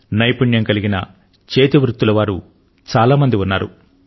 నైపుణ్యం కలిగిన చేతివృత్తులవారు చాలా మంది ఉన్నారు